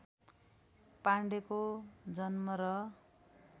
पाण्डेको जन्म र